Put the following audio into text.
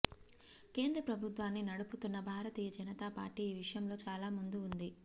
కేంద్ర ప్రభుత్వాన్ని నడుపుుతన్న భారతీయ జనతాపార్టీ ఈ విషయంలో చాలా ముందు ఉంది